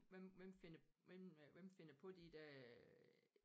Hvem hvem finder hvem øh hvem finder på de der